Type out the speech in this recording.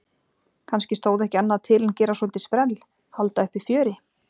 Kannski stóð ekki annað til en gera svolítið sprell, halda uppi fjöri?